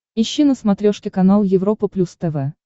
ищи на смотрешке канал европа плюс тв